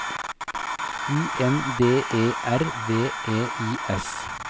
U N D E R V E I S